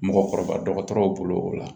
Mɔgɔkɔrɔba dɔgɔtɔrɔw bolo o la